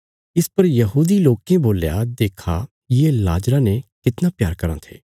इस पर यहूदी लोकें बोल्या देक्खा ये लाजरा ने कितना प्यार कराँ थे